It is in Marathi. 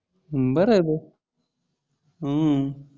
हम्म बर आहे भाऊ आहे हम्म